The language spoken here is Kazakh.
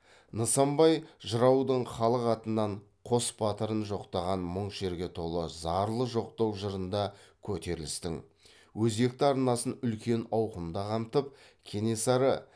нысанбай жыраудың халық атынан қос батырын жоқтаған мұң шерге толы зарлы жоқтау жырында көтерілістің өзекті арнасын үлкен ауқымда қамтып кенесары